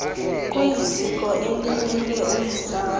kwiziko elimele umzantsi